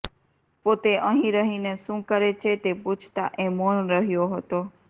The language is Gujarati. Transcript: પોતે અહીં રહીને શું કરે છે તે પૂછતા એ મૌન રહ્યો હતો